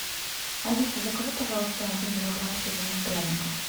алиса закажи пожалуйста один килограмм северных пряников